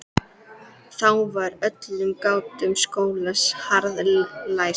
Þá var öllum gáttum skólans harðlæst.